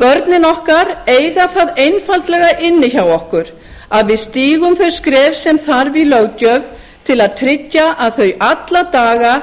börnin okkar eiga það einfaldlega inni hjá okkur að við stígum þau skref sem þarf í löggjöf til að tryggja að þau alla daga